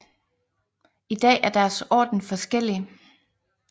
I dag er deres orden forskellig